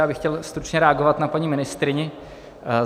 Já bych chtěl stručně reagovat na paní ministryni.